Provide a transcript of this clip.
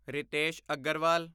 Ritesh Agarwal